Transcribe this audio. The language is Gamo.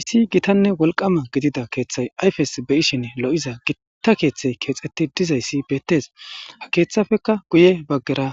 issi gitanne wolqama gidida keeththay ayfes be ishin lo7iza gitta keeththey keexeti dizayssi beettes a keeththafeka guye baggera